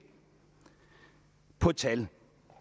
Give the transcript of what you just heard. på et tal